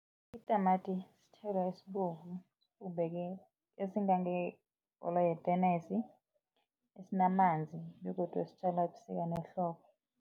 Itamati sithelo esibovu sibumbeke esingangebholo yetenesi esinamanzi begodu sitjalwa ebusika nehlobo.